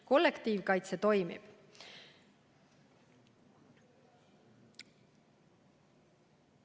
Kollektiivkaitse toimib.